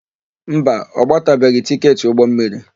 Mba, ọ gbatabeghị tịketị ụgbọmmiri.